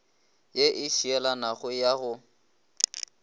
ye e šielanago ya go